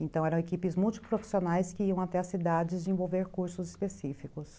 Então eram equipes multiprofissionais que iam até as cidades desenvolver cursos específicos.